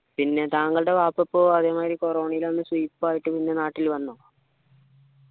പിന്നെ താങ്കളുടെ വാപ്പക്കോ അതേമാതിരി corona വന്ന് സുയിപ്പ് ആയിട്ട് പിന്നെ നാട്ടിൽ വന്നോ